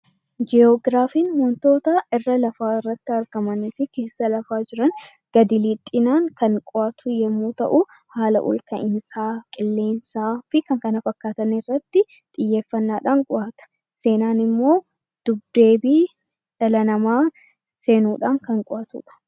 Ji'ograafiin wantoota irra lafaa irratti argamanii fi keessa lafaa jiran gadi lixxinaan kan qo'atu yemmuu ta'u haala olka'insaa, qilleensaa fi kan kana fakkaatan irratti xiyyeeffannaadhaan qo'ata. Seenaan immoo dubdeebii dhala namaa seenuudhaan kan qo'atudha.